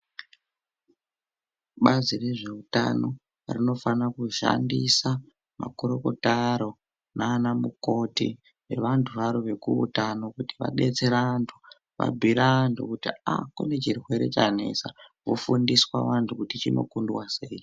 Bazi rezveutano rinofana kushandisa makurukota aro nana mukoti nevantu varo vekuutano kuti vadetsere antu, vabhuire antu kuti ah kune chirwere chanetsa vofundiswa vantu kuti chinokundwa sei.